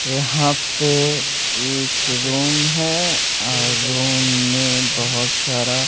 यहां पे एक रूम है और रूम में बहोत सारा--